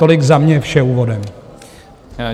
Tolik za mě vše úvodem.